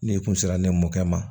N'i kun sera ne mɔkɛ ma